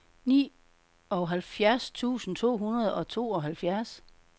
nioghalvfjerds tusind to hundrede og tooghalvfjerds